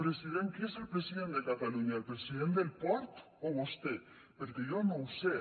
president qui és el president de catalunya el president del port o vostè perquè jo no ho sé